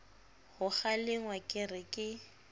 ho kgalengwa re ke ke